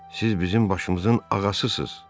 Siz bizim başımızın ağasısız.